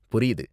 புரியுது